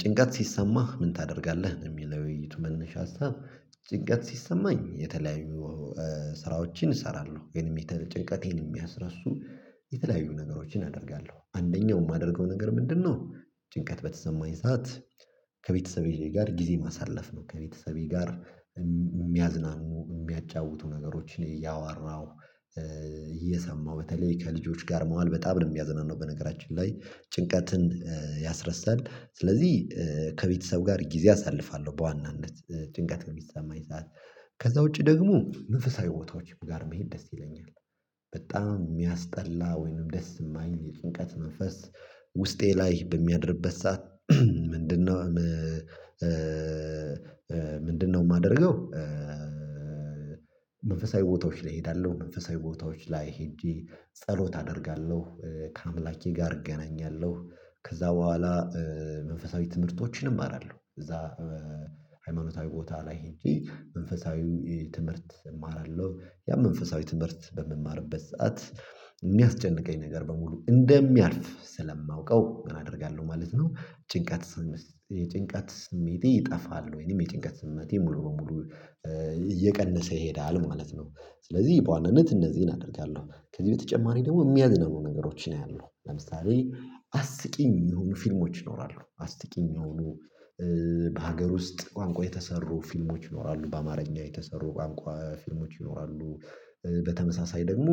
ጭንቀት ሲሰማህ ምን ታደርጋለህ? ነው የሚለው የውይይት መነሻ ሀሳብ ጭንቀት ሲሰማኝ የተለያዩ ስራዎችን እሰራለሁ የሚተል ጭንቀቴን የሚያስረሱ የተለያዩ ነገሮችን አደርጋለሁ አንደኛው የማደርገው ነገር ምንድነው ጭንቀት በተሰማኝ ሰዓት ከቤተሰቤ ጋር ጊዜ ማሳለፍ ነው ከቤተሰቤ ጋር የሚያዝናኑ የሚያጫውቱ ነገሮችን እያወራሁ እየሰማሁ በተለይ ከልጆች ጋር መዋል በጣም ነው የሚያዘናነው በነገራችን ላይ ጭንቀትን ያስረሳል ስለዚህ ከቤተሰብ ጋር ጊዜ አሳልፋለሁ በዋናነት ጭንቀት በሚሰማኝ ሰዓት። ከዛ ውጪ ደግሞ መንፈሳዊ ቦታዎችም ጋር መሄድ ደስ ይለኛል በጣም የሚያስጠላ ወይንም ደስ የማይል የጭንቀት መንፈስ ውስጤ ላይ በሚያድርበት ሰዓት ምንድነው ምንድነው የማደርገው። መንፈሳዊ ቦታዎች ላይ እሄዳለሁ፣ መንፈሳዊ ቦታዎች ላይ ሄጄ ጸሎት አደርጋለሁ፣ ከአምላኬ ጋር እገናኛለሁ፣ ከዛ በኋላ መንፈሳዊ ትምህርቶችን እማራለሁ እዛ ሃይማኖታዊ ቦታ ላይ ሂጀ መንፈሳዊ ትምህርት እማራለሁ። ያም መንፈሳዊ ትምህርት በምማርበት ሰዓት የሚያስጨንቀኝ ነገር በሙሉ እንደሚያልፍ ስለማውቀው ምን አደርጋለሁ ማለት ነው ጭንቀት የጭንቀት ስሜቴ ይጠፋል ወይንም የጭንቀት ስምምነቴ ሙሉ በሙሉ እየቀነሰ ይሄዳል ማለት ነው። ስለዚህ በዋናነት እነዚህን አደርጋለሁ ከዚህ በተጨማሪ ደግሞ የሚያዝናኑ ነገሮችን አያለሁ። ለምሳሌ አስቂኝ የሆኑ ፊልሞች ይኖራሉ አስቂኝ የሆኑ በሀገር ውስጥ ቋንቋ የተሰሩ ፊልሞች ይኖራሉ፣ በአማርኛ የተሰሩ ቋንቋ ፊልሞች ይኖራሉ በተመሳሳይ ደግሞ